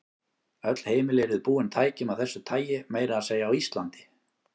Öll heimili yrðu búin tækjum af þessu tagi, meira að segja á Íslandi.